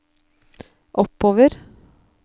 oppover